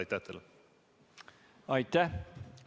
Aitäh!